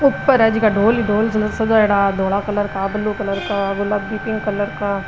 ऊपर है झका डोल ही डोल सजाईडा धोला कलर का ब्लू कलर का गुलाबी पिंक कलर का।